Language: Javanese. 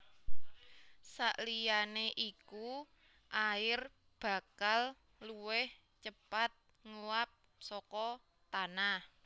Saliyané iku air bakal luwih cepat nguwap saka tanah